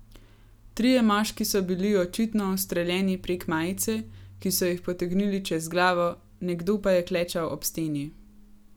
Trije moški so bili očitno ustreljeni prek majice, ki so jih potegnili čez glavo, nekdo pa je klečal ob steni.